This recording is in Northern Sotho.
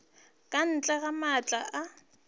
ka ntle ga maatla a